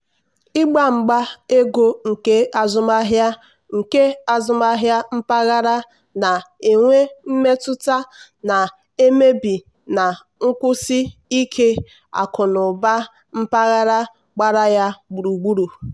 ịgba mgba ego nke azụmahịa nke azụmahịa mpaghara na-enwe mmetụta na-emebi na nkwụsi ike akụnụba mpaghara gbara ya gburugburu.